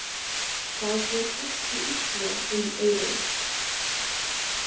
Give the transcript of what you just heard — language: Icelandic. Það fór ekki illa um Eyrúnu.